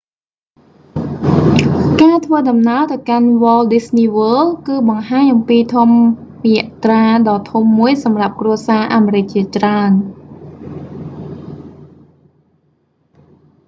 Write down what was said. ការធ្វើដំណើរទៅកាន់ walt disney world គឺបង្ហាញអំពីធម្មយាត្រាដ៏ធំមួយសម្រាប់់គ្រួសារអាមេរិកជាច្រើន